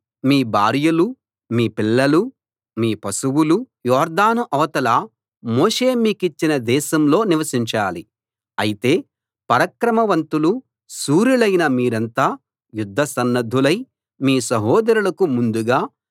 మీ భార్యలూ మీ పిల్లలూ మీ పశువులూ యొర్దాను అవతల మోషే మీకిచ్చిన దేశంలో నివసించాలి అయితే పరాక్రమ వంతులు శూరులైన మీరంతా యుద్ధసన్నద్ధులై మీ సహోదరులకు ముందుగా